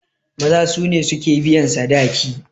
Maza su ne suke biyan sadaki.